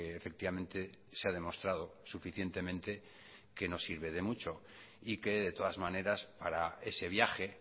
efectivamente se ha demostrado suficientemente que no sirve de mucho y que de todas maneras para ese viaje